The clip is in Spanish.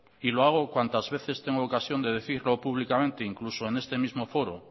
y lo hago cuantas veces tengo ocasión de decirlo públicamente incluso en este mismo foro